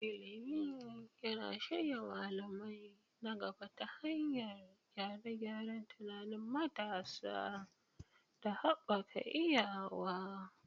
Ilimi yana shirya malamai na gaba ta hanyar gyare-gyaren tunanin matasa da haɓaka iyawa.